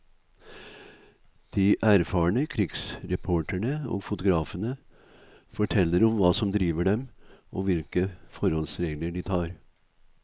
De erfarne krigsreporterne og fotografene forteller om hva som driver dem og hvilke forholdsregler de tar.